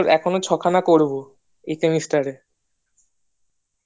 এখনো ছখানা করবো এই semester এ